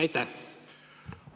Aitäh!